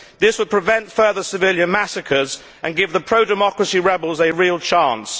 This would prevent further civilian massacres and give the pro democracy rebels a real chance.